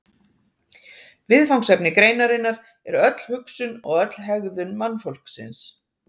Viðfangsefni greinarinnar er öll hugsun og öll hegðun mannfólksins.